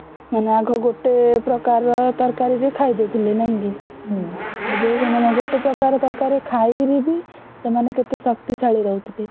ହେନ ଆଘ ଗୋଟେ ପ୍ରକାରର ତରକାରୀ ଯେ ଖାଇଦଉଥିଲେ ନାଇକି ଏବେ ସେମାନେ ଗୋଟେ ପ୍ରକାରର ତରକାରୀରେ ଖାଇକିରି ବି କେତେ ଶକ୍ତିଶାଳୀ ରହୁଥିଲେ।